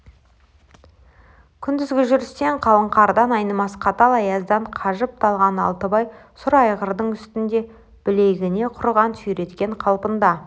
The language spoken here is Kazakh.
күндізгі жүрістен қалың қардан айнымас қатал аяздан қажып-талған алтыбай сұр айғырдың үстінде білегіне құрығын сүйреткен қалпында